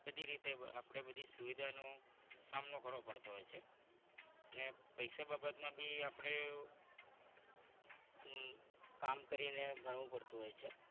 બધી રીતે આપણે બધી સુવિધા નું સામનો કરવો પડતો હોય છે અને પૈસા બાબતમાં પણ આપણે કામ કરીને ભણવું પડતું હોય છે.